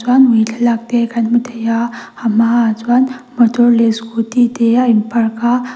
chuan ui thlalak te kan hmu thei a a hmaah chuan motor leh scooty te a in park a.